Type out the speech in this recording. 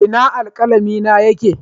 Ina alkalami na yake?